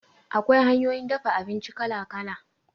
Akwai hanyoyin dafa abinci kala kala